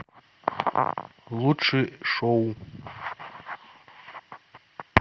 лучшие шоу